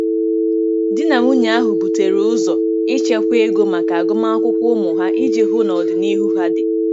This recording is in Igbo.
Di na nwunye ahụ butere ụzọ ichekwa ego maka agụmakwụkwọ ụmụ ha iji hụ na ọdịnihu ha dị.